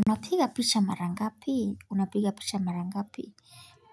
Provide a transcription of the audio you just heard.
Unapiga picha mara ngapi? Unapiga picha mara ngapi?